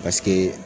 Paseke